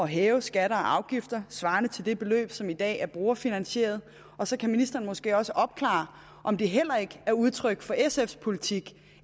hæve skatter og afgifter svarende til det beløb som i dag er brugerfinansieret og så kan ministeren måske også opklare om det heller ikke er udtryk for sfs politik